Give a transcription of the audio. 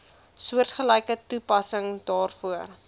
soortgelyke toepassing daarvoor